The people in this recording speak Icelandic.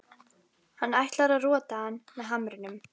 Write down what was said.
Hann ætlar að rota hann með hamrinum.